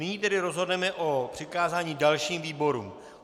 Nyní tedy rozhodneme o přikázání dalším výborům.